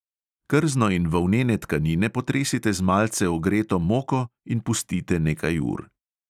Krzno in volnene tkanine potresite z malce ogreto moko in pustite nekaj ur.